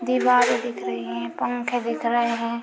दीवारे दिख रही हैं पंखे दिख रहे हैं।